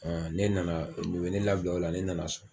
Ɔ ne nana i ye ne labila o la ne nana so